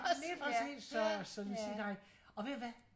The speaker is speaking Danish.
Lige præcis så så vi siger nej og ved hvad?